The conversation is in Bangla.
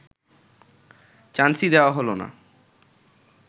চান্সই দেওয়া হল না